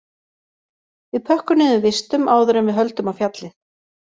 Við pökkum niður vistum áður en við höldum á fjallið